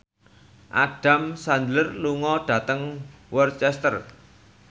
Adam Sandler lunga dhateng Worcester